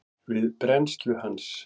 við brennslu hans.